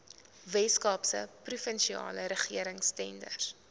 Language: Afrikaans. weskaapse provinsiale regeringstenders